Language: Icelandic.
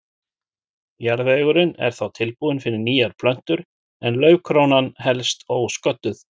Jarðvegurinn er þá tilbúinn fyrir nýjar plöntur en laufkrónan helst ósködduð.